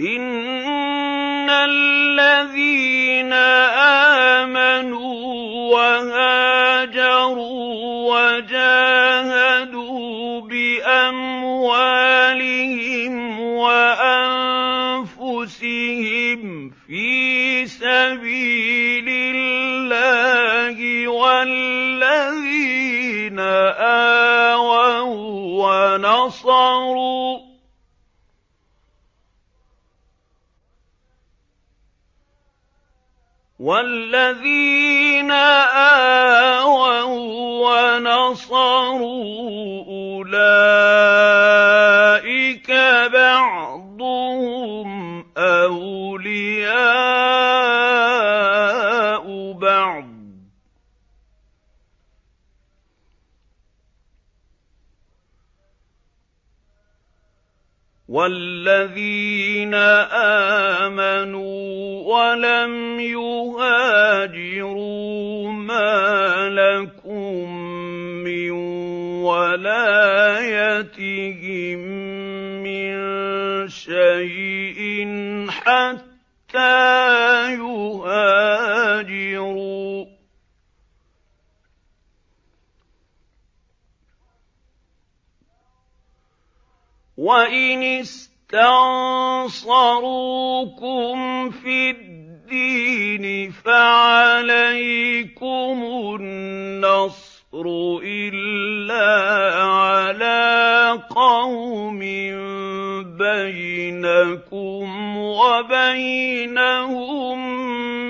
إِنَّ الَّذِينَ آمَنُوا وَهَاجَرُوا وَجَاهَدُوا بِأَمْوَالِهِمْ وَأَنفُسِهِمْ فِي سَبِيلِ اللَّهِ وَالَّذِينَ آوَوا وَّنَصَرُوا أُولَٰئِكَ بَعْضُهُمْ أَوْلِيَاءُ بَعْضٍ ۚ وَالَّذِينَ آمَنُوا وَلَمْ يُهَاجِرُوا مَا لَكُم مِّن وَلَايَتِهِم مِّن شَيْءٍ حَتَّىٰ يُهَاجِرُوا ۚ وَإِنِ اسْتَنصَرُوكُمْ فِي الدِّينِ فَعَلَيْكُمُ النَّصْرُ إِلَّا عَلَىٰ قَوْمٍ بَيْنَكُمْ وَبَيْنَهُم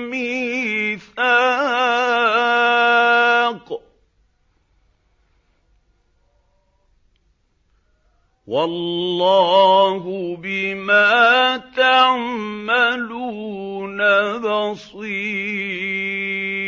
مِّيثَاقٌ ۗ وَاللَّهُ بِمَا تَعْمَلُونَ بَصِيرٌ